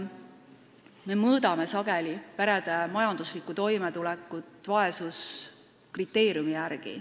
Me mõõdame sageli perede majanduslikku toimetulekut vaesuskriteeriumi järgi.